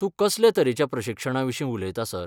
तूं कसले तरेच्या प्रशिक्षणाविशीं उलयता, सर?